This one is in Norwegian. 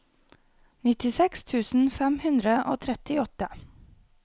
nittiseks tusen fem hundre og trettiåtte